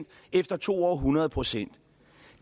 efter to år hundrede procent